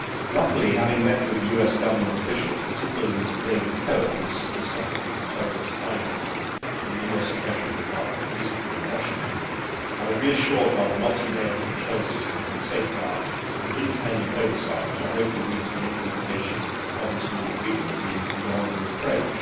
Luckily, having met with US Government officials, particularly Mr David Cohen, the Assistant Secretary for Terrorist Financing in the US Treasury Department, recently in Washington, I was reassured by the multi layered control systems and safeguards and independent oversight which I hope will lead to the implementation of this new agreement being beyond reproach.